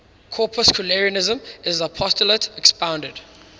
corpuscularianism is the postulate expounded